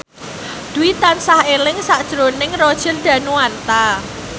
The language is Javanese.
Dwi tansah eling sakjroning Roger Danuarta